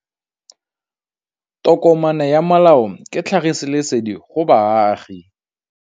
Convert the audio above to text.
Tokomane ya molao ke tlhagisi lesedi go baagi.